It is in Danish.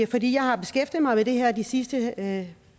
fordi jeg har beskæftiget mig med det her de sidste